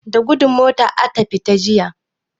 Da gudu mota ata fita jiya.